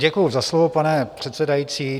Děkuji za slovo, pane předsedající.